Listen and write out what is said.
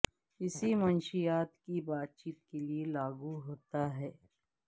اسی منشیات کی بات چیت کے لیے لاگو ہوتا ہے